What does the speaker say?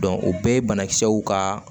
o bɛɛ ye banakisɛw ka